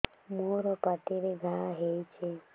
ମୋର ପାଟିରେ ଘା ହେଇଚି